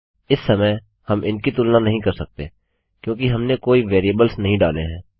इस समय हम इनकी तुलना नहीं कर सकते क्योंकि हमने कोई वेरिएबल्स नहीं डाले हैं